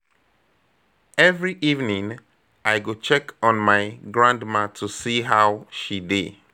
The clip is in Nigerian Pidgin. Every evening, I go check on my grandma to see how she dey.